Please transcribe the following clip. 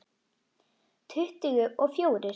Tuttugu og fjórir.